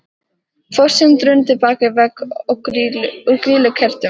Fossinn drundi bak við vegg úr grýlukertum.